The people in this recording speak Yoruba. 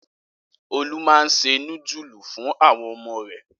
Olú máa ń se núdúlù fún àwọn ọmọ rẹ̀.